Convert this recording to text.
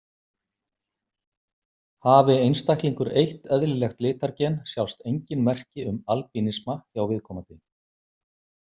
Hafi einstaklingur eitt eðlilegt litargen sjást engin merki um albínisma hjá viðkomandi.